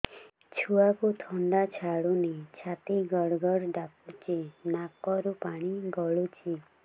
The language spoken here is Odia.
ଛୁଆକୁ ଥଣ୍ଡା ଛାଡୁନି ଛାତି ଗଡ୍ ଗଡ୍ ଡାକୁଚି ନାକରୁ ପାଣି ଗଳୁଚି